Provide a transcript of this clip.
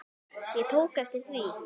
Ég tók eftir því.